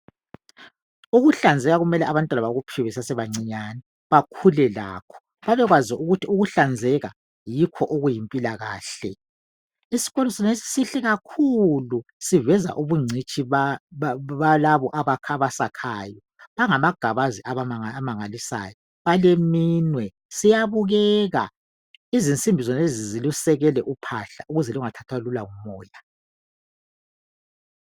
Ukuhlanzeka kumele abantwana bakuphiwe besasebancinyane bakhule lakho babekwazi ukuthi ukuhlanzeka yikho okuyimpilakahle. Isikolo senesi sihle kakhuku siveza ubungcitshi balabo abasakhayo. Bangamagabazi amangalisayo baleminwe, siyabukeka. Izitina zenezi zilusekele uphahla ukuze lungathathwa lula ngumoya.